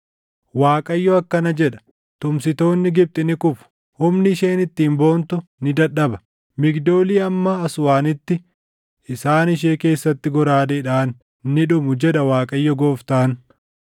“‘ Waaqayyo akkana jedha: “ ‘Tumsitoonni Gibxi ni kufu; humni isheen ittiin boontu ni dadhaba. Migdoolii hamma Aswaanitti, isaan ishee keessatti goraadeedhaan ni dhumu, jedha Waaqayyo Gooftaan.